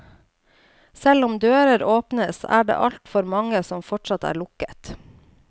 Selv om dører åpnes, er det altfor mange som fortsatt er lukket.